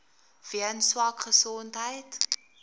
weens swak gesondheid